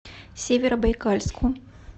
северобайкальску